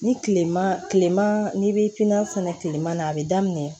Ni kilema kilema n'i bi pipiniyɛri fɛnɛ tilema na a bɛ daminɛ